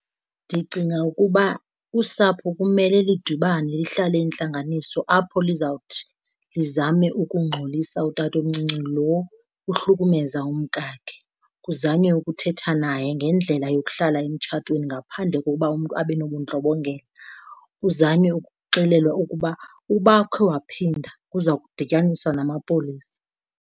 Ndicinga ukuba usapho kumele lidibane lihlale intlanganiso apho lizawuthi lizame ukungxolisa utatomncinci lo uhlukumeza umkakhe. Kuzanywe ukuthetha naye ngendlela yokuhlala emtshatweni ngaphandle kokuba umntu abe nobundlobongela kuzanywe ukuxelelwa ukuba uba ukhe waphinda kuza kudityaniswa namapolisa.